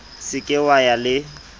se ke wa ya le